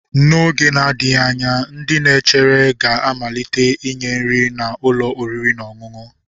N'oge na-adịghị anya ndị na-echere ga-amalite inye nri na ụlọ oriri na ọṅụṅụ.